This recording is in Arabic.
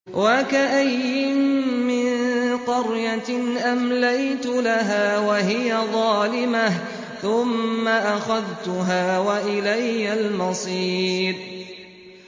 وَكَأَيِّن مِّن قَرْيَةٍ أَمْلَيْتُ لَهَا وَهِيَ ظَالِمَةٌ ثُمَّ أَخَذْتُهَا وَإِلَيَّ الْمَصِيرُ